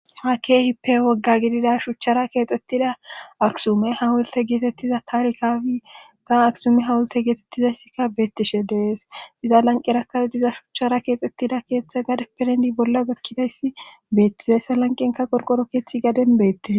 Ha keehi pe wogga gidida shuchchara keexxettida aksume hawolte geetettiza taarikafika aksume hawolte geetettizayssikka beettishe dees iza lanqerakawdiza shuchchara keexxettida keeththe gad perendi bolla gakkidayssi beettizayssa lanqenka qorqoro keeththi gaden beette.